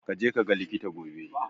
Ka je kaga likita gobe.